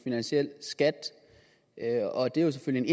finansiel skat og det er selvfølgelig